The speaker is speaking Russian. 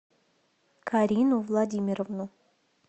карину владимировну